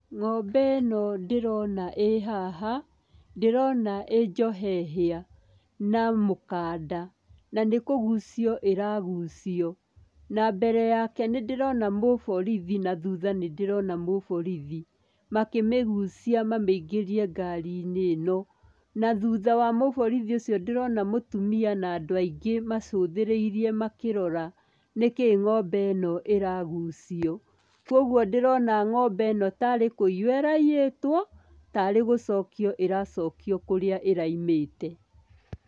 Ng'ombe ĩno ndĩrona ĩ haha, ndĩrona ĩ njohe hĩa na mũkanda, na nĩ kũgucio ĩragucio, na mbere yake nĩ ndĩrona mũborithi na thutha nĩ ndĩrona mũborithi makĩmĩgucia mamĩingĩrie ngari-inĩ ĩno, na thutha wa mũborithi ũcio ndĩrona mũtumia na andũ aingĩ macũthĩrĩirie makĩrora nĩkĩĩ ng'ombe ĩno ĩragucio, kwoguo ndĩrona ng'ombe ĩno ta arĩ kũiywo ĩraiyĩtwo, ta arĩ gũcokio ĩracokio kũrĩa ĩraimĩte.